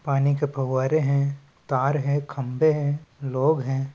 पानी की फौवारे है तार है खम्बे है लोग हैं।